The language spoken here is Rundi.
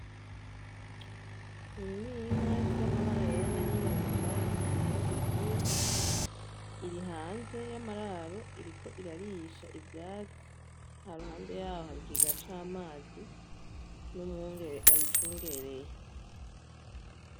Iyi ninka ifise amabara yera nayirabura ntamahembe igira iri hanze yamararo iriko irarisha ivyatsi haruhande yaho hari ikigega camazi numwungere ayicungereye